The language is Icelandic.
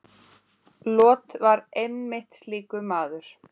Lot var einmitt slíkur maður.